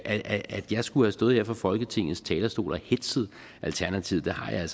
at jeg skulle have stået her fra folketingets talerstol og hetzet alternativet har jeg